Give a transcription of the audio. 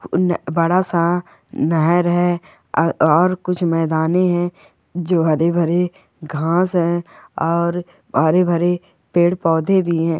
उन बड़ा सा नहर है अ और कुछ मेदाने हैजो हरे भरे घास है और हरे भरे पेड़ पौधे भी है।